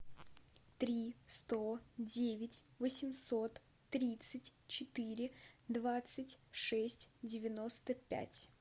три сто девять восемьсот тридцать четыре двадцать шесть девяносто пять